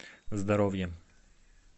здоровье